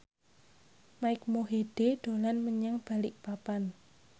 Mike Mohede dolan menyang Balikpapan